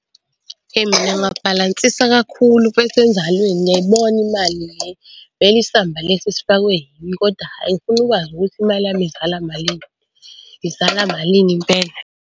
Eyi mngani wami wabhalansisa kakhulu mfethu enzalweni ngiyayibona imali , vele isamba lesi sifakwe yimi kodwa hhayi ngifuna ukwazi ukuthi imali yami izala malini, izala malini impela.